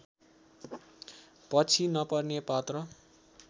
पछि नपर्ने पात्र